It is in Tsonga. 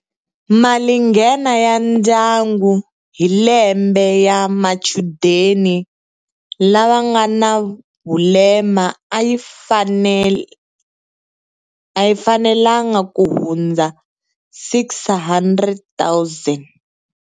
Malinghena ya ndyangu hi lembe ya machudeni lava nga na vulema a yi fanelanga ku hundza R600 000.